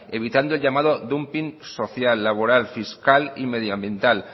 evitando el llamado dumping social laboral fiscal y medioambiental